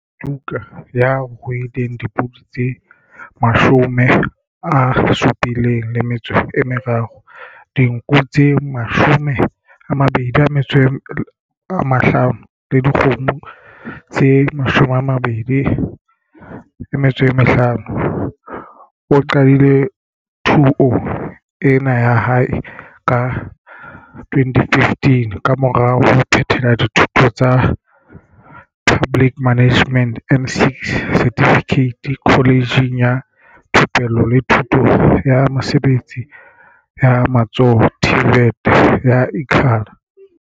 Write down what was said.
Suduka, ya ruileng le dipodi tse 73, dinku tse 25 le dikgomo tse 25, o qadile thuo ena ya hae ka 2015 kamora ho phethela dithuto tsa Public Management N6 Certificate Kholejeng ya Thupelo le Thuto ya Mesebetsi ya Matsoho TVET ya Ikhala.